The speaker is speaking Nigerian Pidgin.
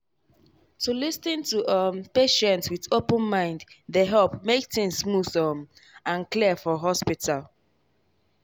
to lis ten to um patient with open mind dey help make things smooth um and clear for hospital.